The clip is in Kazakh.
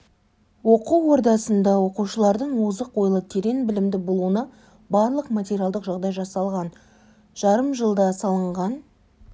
оқу ордасында оқушылардың озық ойлы терең білімді болуына барлық материалдық жағдай жасалған жарым жылда салынған